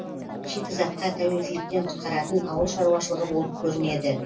шикізатқа тәуелділіктен құтқаратын ауыл шаруашылығы болып көрінеді